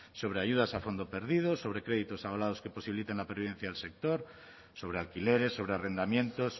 sobre ayudas a fondo perdido sobre créditos abalados que posibiliten la pervivencia del sector sobre alquileres sobre arrendamientos